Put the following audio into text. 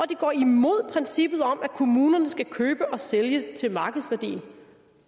det går imod princippet om at kommunerne skal købe og sælge til markedsværdien